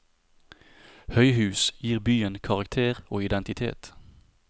Høyhus gir byen karakter og identitet.